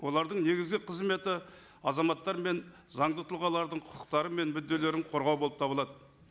олардың негізгі қызметі азаматтар мен заңды тұлғалардың құқықтары мен мүдделерін қорғау болып табылады